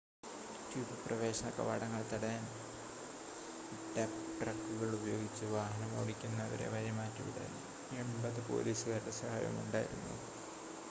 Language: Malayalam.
ട്യൂബ് പ്രവേശന കവാടങ്ങൾ തടയാൻ ഡമ്പ് ട്രക്കുകൾ ഉപയോഗിച്ചു വാഹനമോടിക്കുന്നവരെ വഴിമാറ്റിവിടാൻ 80 പോലീസുകാരുടെ സഹായവും ഉണ്ടായിരുന്നു